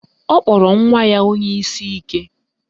Ọ kpọrọ nwa ya onye isi ike